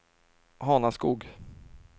Hanaskog